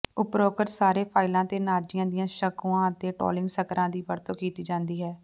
ਉਪਰੋਕਤ ਸਾਰੇ ਫਾਈਲਾਂ ਤੇ ਨਾਜ਼ੀਆਂ ਦੀਆਂ ਸ਼ੰਕੂਆਂ ਅਤੇ ਟੋਲਿੰਗ ਸਕਰਾਂ ਦੀ ਵਰਤੋਂ ਕੀਤੀ ਜਾਂਦੀ ਹੈ